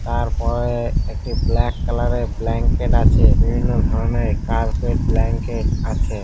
তারপরে একটি black colour -এর ব্ল্যাঙ্কেট আছে। বিভিন্ন ধরনের কার্পেট ব্ল্যাঙ্কেট আছে ।